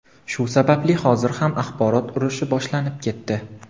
Shu sababli hozir ham axborot urushi boshlanib ketdi.